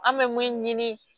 An bɛ mun ɲini